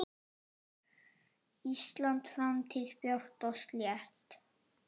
Íslands framtíð björt og slétt.